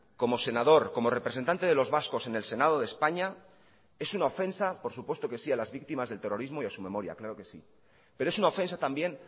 como senador como representante de los vascos en el senado de españa es una ofensa por su puesto que sí a las víctimas del terrorismo y a su memoria claro que si pero es una ofensa también